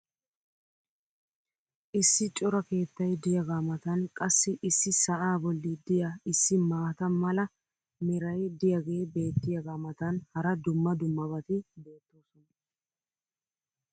Issi cora keettay diyaagaa matan qassi issi sa"aa boli diyaa issi maata mala meray diyaagee beetiyaagaa matan hara dumma dummabati beetoosona.